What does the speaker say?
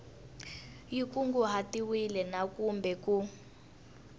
xi kunguhatiwile na kumbe ku